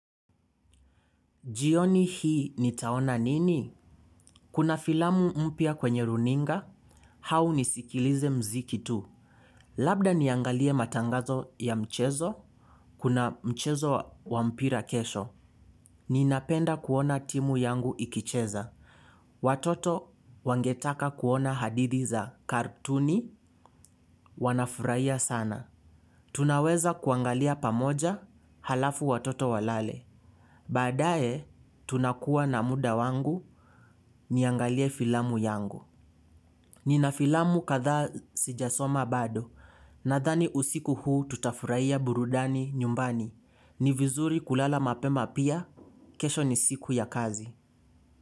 Jioni hii nitaona nini? Kuna filamu mpia kwenye runinga. Hau nisikilize mziki tu. Labda niangalie matangazo ya mchezo. Kuna mchezo wa mpira kesho. Ninapenda kuona timu yangu ikicheza. Watoto wangetaka kuona hadithi za kartuni wanafurahia sana. Tunaweza kuangalia pamoja halafu watoto walale. Badae, tunakuwa na muda wangu niangalie filamu yangu. Nina filamu kadha sijasoma bado. Nadhani usiku huu tutafurahia burudani nyumbani. Ni vizuri kulala mapema pia, kesho ni siku ya kazi.